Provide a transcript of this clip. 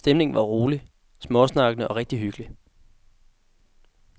Stemningen var rolig, småsnakkende og rigtig hyggelig.